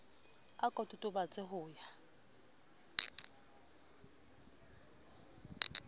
a ko totobatse ho ya